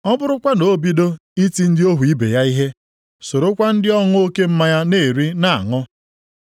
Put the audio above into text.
ọ bụrụkwa na o bido iti ndị ohu ibe ya ihe, sorokwa ndị ọṅụ oke mmanya na-eri, na-aṅụ.